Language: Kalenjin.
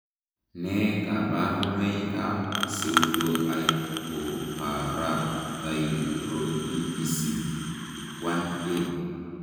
Nee kabarunoikab Pseudohypoparathyroidism 1A?